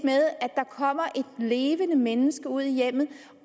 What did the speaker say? levende menneske ud i hjemmet